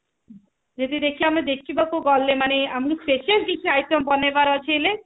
ଯଦି ଆମେ ଦେଖିବାକୁ ଗଲେ ମାନେ ଆମକୁ specially କିଛି item ବନେଇବାର ଅଛି ହେଲେ